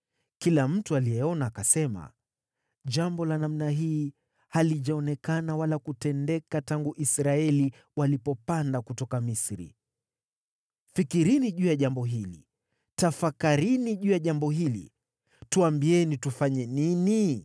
Kila mtu aliyeona akasema, “Jambo la namna hii halijaonekana wala kutendeka, tangu Israeli walipopanda kutoka Misri. Fikirini juu ya jambo hili! Tafakarini juu ya jambo hili! Tuambieni tufanye nini!”